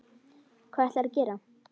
Hvað ætlarðu að gera?